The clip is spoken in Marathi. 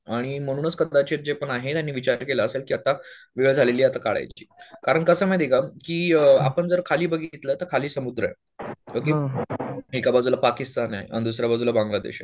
आणि म्हणूनच कदाचित जे पण आहेत त्यांनी विचार केला असेल की आता वेळ झालेली आहे आता काढायची. कारण कसं माहिती का की आपण जर खाली बघितलं तर खाली समुद्र आहे. एका बाजूला पाकिस्तान आहे आणि दुसऱ्याबाजूला बांग्ला देश आहे.